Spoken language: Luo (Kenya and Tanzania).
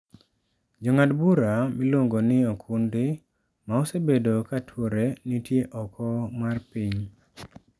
Jong'ad bura miluon'go ni Okundi, ma osebedo ka tuore, nitie oko mar piny.